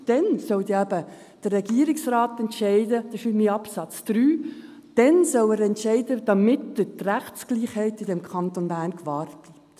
– Dann soll eben der Regierungsrat entscheiden, das steht in Absatz 3, damit die Rechtsgleichheit im Kanton Bern gewahrt bleibt.